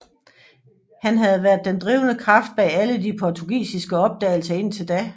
Han havde været den drivende kraft bag alle de portugisiske opdagelser indtil da